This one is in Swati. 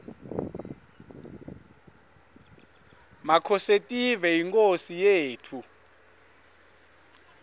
makhosetive yinkhosi yetfu